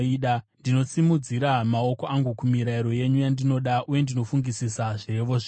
Ndinosimudzira maoko angu kumirayiro yenyu yandinoda, uye ndinofungisisa zvirevo zvenyu.